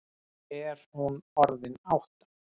Er hún orðin átta?